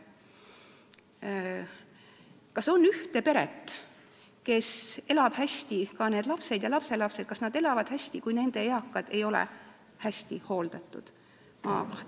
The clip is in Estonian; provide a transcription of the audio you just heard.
Kas on kas või ühte peret, kes elab hästi, kas lapsed ja lapselapsed elavad hästi, kui nende eakad ei ole hästi hooldatud?